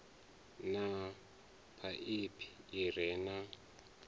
na phaiphi i re na